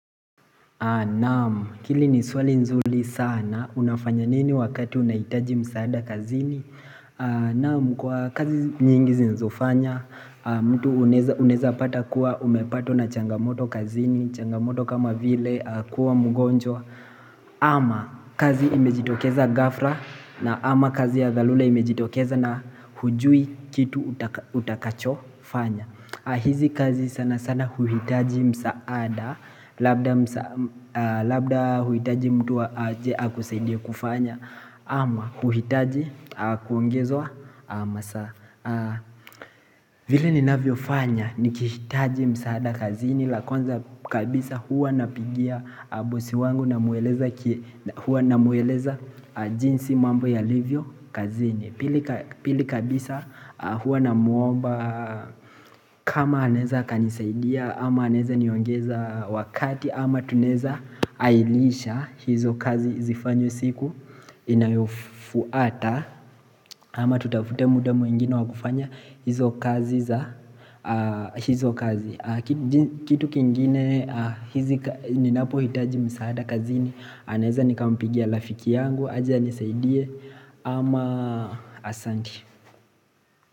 Naam, hili ni swali nzuri sana, unafanya nini wakati unahitaji msaada kazini? Naam, kwa kazi nyingi zinazofanya, mtu unaeza pata kuwa umepatwa na changamoto kazini, changamoto kama vile kuwa mgonjwa ama kazi imejitokeza ghafla na ama kazi ya dharura imejitokeza na hujui kitu utakachofanya hizi kazi sana sana huhitaji msaada Labda huhitaji mtu aje akusaidia kufanya ama huhitaji kuongezwa masaa vile ninavyofanya Nikihitaji msaada kazi ni la kwanza kabisa huwa napigia bosi wangu Namwweleza jinsi mambo yalivyo kazini Pili kabisa huwa namwomba kama anaeza akanisaidia ama anaeza niongeza wakati ama tunaeza harisha hizo kazi zifanywe siku inayofuata ama tutafute muda mwingine wakufanya hizo kazi za hizo kazi Kitu kingine hizi ninapohitaji msaada kazini naeza nikampigia rafiki yangu aje anisaidie ama asanti.